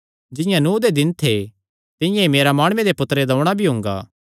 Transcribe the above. जिंआं नूह दे दिन थे तिंआं ई मिन्जो माणुये दे पुत्तरे दा औणां भी हुंगा